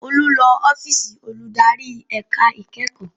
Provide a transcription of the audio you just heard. Olú lọ ọ́fíìsì olùdarí ẹ̀ka ìkẹ́kọ̀ọ́